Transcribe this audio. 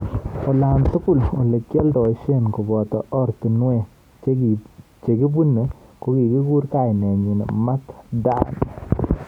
Olatugul olekialdoishie koboto oratunwek chekibune kokikur kainenyi Mat Dan.